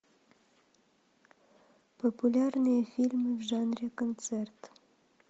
популярные фильмы в жанре концерт